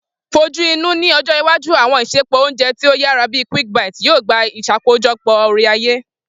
Fojuinu, ni ọjọ iwaju, àwọn isẹpo ounjẹ ti o yara bi Quick Bite yoo gba iṣakojọpọ ore-aye.